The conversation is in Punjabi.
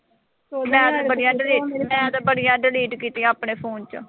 ਮੈ ਤਾਂ ਬੜੀਆਂ delete ਮੈਂ ਤਾਂ ਬੜੀਆਂ delete ਕੀਤੀਆਂ ਆਪਣੇ phone ਚੋਂ।